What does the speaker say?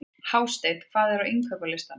Hásteinn, hvað er á innkaupalistanum mínum?